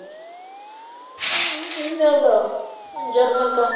ਇਹਨਾਂ ਦਾ ਜਰਮਨ ਕਾ